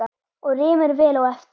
Og rymur vel á eftir.